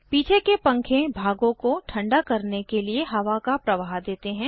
पीछे के पंखे भागों को ठंडा करने के लिए हवा का प्रवाह देते हैं